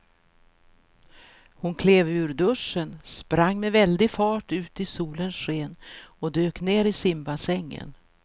Hon klev ur duschen, sprang med väldig fart ut i solens sken och dök ner i simbassängen.